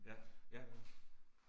Ja, ja